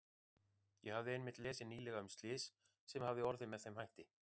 Ég hafði einmitt lesið nýlega um slys sem hafði orðið með þeim hætti.